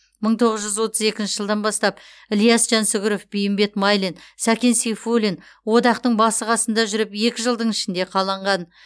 мың тоғыз жүз отыз екінші жылдан бастап ілияс жансүгіров бейімбет майлин сәкен сейфуллин одақтың басы қасында жүріп екі жылдың ішінде қаланған